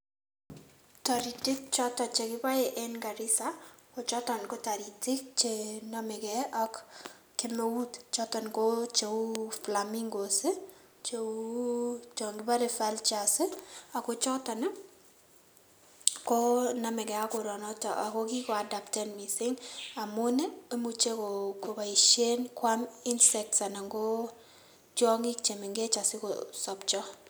Toritik choto chekiboe eng Garissa, kochoton ko taritik che namekei ak kemeut choton ko cheu flamingos, cheu che kiparen vultures ako choton ko namekei ak koronoton ako kikoadaptan mising amun imuchei kopoishen kwam insects anan ko tiongik che mengechen asikomuch kosopcho.